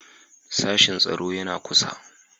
Sashen tsaro yana kusa.